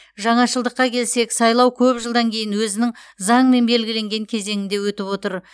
жаңашылдыққа келсек сайлау көп жылдан кейін өзінің заңмен белгіленген кезеңінде өтіп отыр